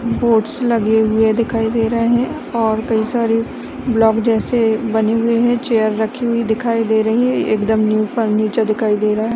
Boards लगे हुए दिखाई दे रहे हैऔर कई सारे ब्लॉक जैसे बने हुए है चेयर्स रखी हुई दिखाई दे रही है एकदम न्यू फर्नीचर दिखाई दे रहा है।